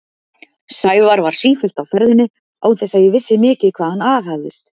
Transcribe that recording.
Sævar var sífellt á ferðinni án þess að ég vissi mikið hvað hann aðhafðist.